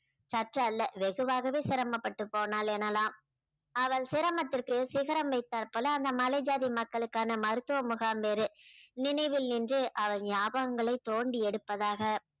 சற்று அல்ல வெகுவாகவே சிரமப்பட்டு போனால் எனலாம் அவள் சிரமத்திற்கு சிகரம் வைத்தார் போல அந்த மலை ஜாதி மக்களுக்கான மருத்துவ முகாம் வேறு நினைவில் நின்று அவர் ஞாபகங்களை தோண்டி எடுப்பதாக